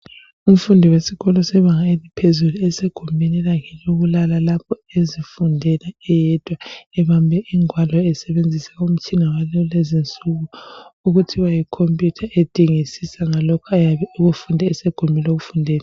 Umfundi wesikolo sebanga eliphezulu esegumbini lakhe lokulala lapha ezifundela eyedwa, ebambe ingwalo esebenzisa umtshina wakulezinsuku ,okuthiwa yikhompiyutha edingisisa ngalokho ayabe ekufunde esegumbini lokufundela.